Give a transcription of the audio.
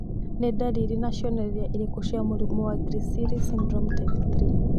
Nĩ ndariri na cionereria irĩkũ cia mũrimũ wa Griscelli syndrome type 3?